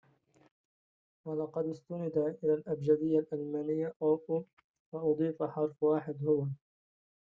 ولقد استند إلى الأبجدية الألمانية وأضيف حرف واحد هو õ/õ